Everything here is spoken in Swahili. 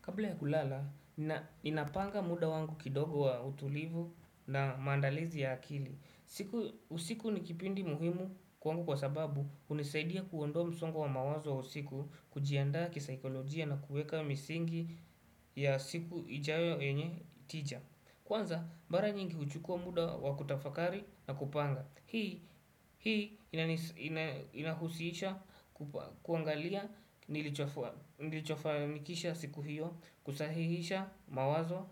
Kabla ya kulala, ninapanga muda wangu kidogo wa utulivu na mandalizi ya akili. Usiku nikipindi muhimu kwangu kwa sababu hunisaidia kuondoa msongo wa mawazo wa usiku kujianda kisaikolojia na kuweka misingi ya siku ijayo yenye tija. Kwanza, mara nyingi kuchukua muda wa kutafakari na kupanga. Hii inahusisha kuangalia nilichofanikisha siku hiyo kusahihisha mawazo